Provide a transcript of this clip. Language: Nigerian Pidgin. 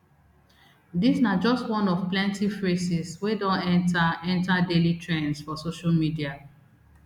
dis na just one of plenti phrases wey don enta enta daily trends for social media